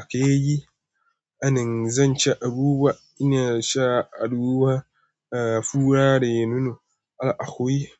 Akeyi? Anin, zan ci abubuwa. Ina sha a ruwa. A fura da yinunu a ahuyi.